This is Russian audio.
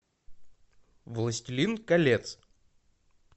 властелин колец